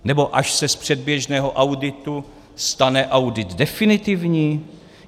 Nebo až se z předběžného auditu stane audit definitivní?